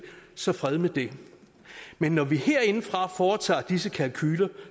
så fred med det men når vi herindefra foretager disse kalkuler